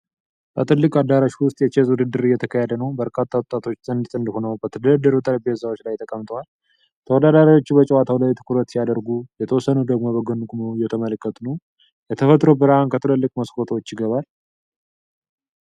በትልቅ አዳራሽ ውስጥ የቼዝ ውድድር እየተካሄደ ነው። በርካታ ወጣቶች ጥንድ ጥንድ ሆነው በተደረደሩ ጠረጴዛዎች ላይ ተቀምጠዋል። ተወዳዳሪዎቹ በጨዋታው ላይ ትኩረት ሲያደርጉ፣ የተወሰኑት ደግሞ በጎን ቆመው እየተመለከቱ ነው። የተፈጥሮ ብርሃን ከትላልቅ መስኮቶች ይገባል።